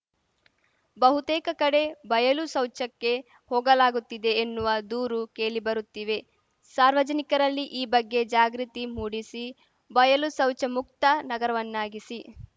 ಬಹುತೇಕ ಕಡೆ ಬಯಲು ಶೌಚಕ್ಕೆ ಹೋಗಲಾಗುತ್ತಿದೆ ಎನ್ನುವ ದೂರು ಕೇಳಿ ಬರುತ್ತಿವೆ ಸಾರ್ವಜನಿಕರಲ್ಲಿ ಈ ಬಗ್ಗೆ ಜಾಗೃತಿ ಮೂಡಿಸಿ ಬಯಲು ಶೌಚಮುಕ್ತ ನಗರವನ್ನಾಗಿಸಿ